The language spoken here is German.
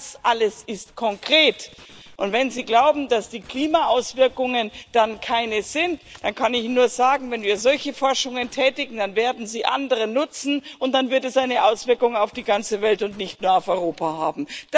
Das alles ist konkret, und wenn Sie glauben, dass die Klimaauswirkungen dann keine sind, dann kann ich Ihnen nur sagen Wenn wir solche Forschungen tätigen, dann werden sie andere nutzen und dann wird es eine Auswirkung auf die ganze Welt und nicht nur auf Europa haben.